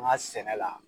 An ka sɛnɛ la